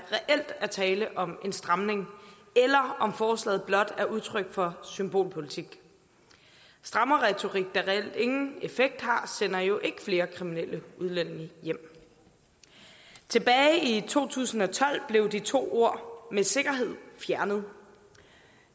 tale om en stramning eller om forslaget blot er udtryk for symbolpolitik strammerretorik der reelt ingen effekt har sender jo ikke flere kriminelle udlændinge hjem tilbage i to tusind og tolv blev de to ord med sikkerhed fjernet